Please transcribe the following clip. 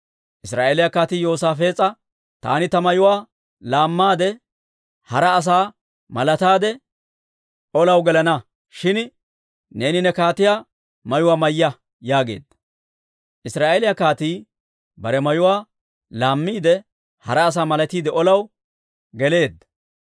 Israa'eeliyaa kaatii Yoosaafees'a, «Taani ta mayuwaa laammaade, hara asaa malataade, olaw gelana; shin neeni ne kaatiyaa mayuwaa mayya» yaageedda. Israa'eeliyaa kaatii bare mayuwaa laammiide, hara asaa malatiide olaw geleedda.